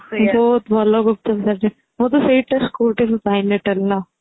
ବହୁତ ଭଲ ଗୁପ୍ଚୁପ ସେଇଠି